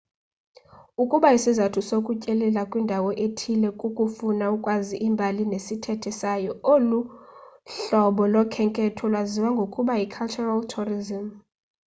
ukuba isizathu sokutyelela kwindawo ethile kukufuna ukwazi imbali nesithethe sayo olu hlobo lokhenketho lwaziwa ngokuba yi-cultural tourism